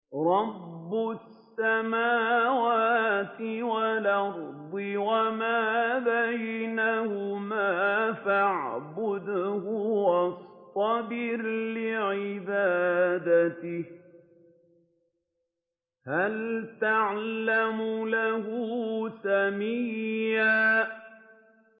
رَّبُّ السَّمَاوَاتِ وَالْأَرْضِ وَمَا بَيْنَهُمَا فَاعْبُدْهُ وَاصْطَبِرْ لِعِبَادَتِهِ ۚ هَلْ تَعْلَمُ لَهُ سَمِيًّا